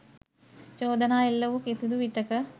චෝදනා එල්ල වූ කිසිදු විටෙක